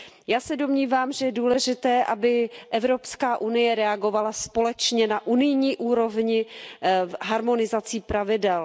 Já se domnívám, že je důležité, aby Evropská unie reagovala společně na unijní úrovni harmonizací pravidel.